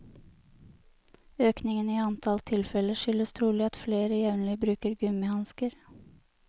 Økningen i antall tilfeller skyldes trolig at flere jevnlig bruker gummihansker.